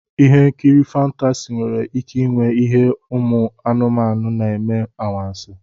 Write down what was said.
Ihe nkiri fántási nwere ike ịnwe ihe umu anumanu na-eme anwansi